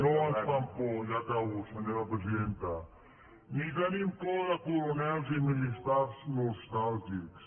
no ens fan por ja acabo senyora presidenta ni tenim por de coronels i militars nostàlgics